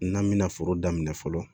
N'an bɛna foro daminɛ fɔlɔ